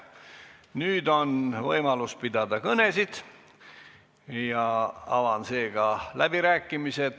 Nüüd on võimalus pidada kõnesid, avan seega läbirääkimised.